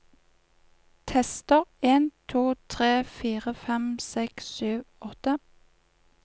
Tester en to tre fire fem seks sju åtte